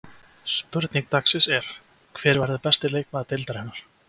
Spurning dagsins er: Hver verður besti leikmaður deildarinnar?